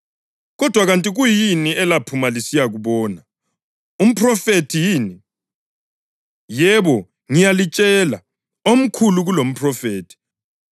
Kodwa kanti kuyini elaphuma lisiyakubona? Umphrofethi yini? Yebo, ngiyalitshela, omkhulu kulomphrofethi.